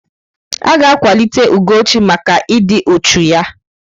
A ga-akwalite Ugochi maka ịdị uchu ya.